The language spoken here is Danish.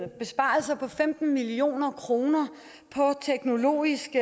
besparelser på femten million kroner på teknologisk